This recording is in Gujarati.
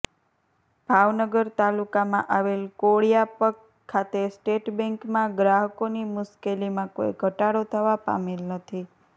ભાવનગર તાલુકામાં આવેલ કોળિયાક ખાતે સ્ટેટ બેન્કમાં ગ્રાહકોની મુશ્કેલીમાં કોઈ ઘટાડો થવા પામેલ નથી